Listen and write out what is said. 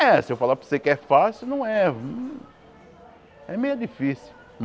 É, se eu falar para você que é fácil, não é. É meio difícil.